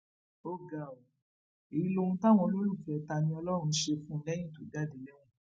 ó ga ọ èyí lohun táwọn olólùfẹ taniọlọrun ṣe fún un lẹyìn tó jáde lẹwọn